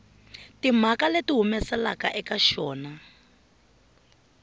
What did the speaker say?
timhaka leti humelelaka eka xona